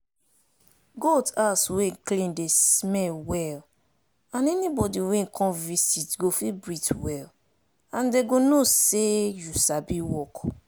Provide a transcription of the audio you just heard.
goat house wey clean dey smell well and anybody wey come visit go fit breath well and dem go know say you sabi work.